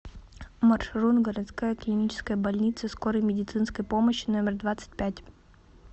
маршрут городская клиническая больница скорой медицинской помощи номер двадцать пять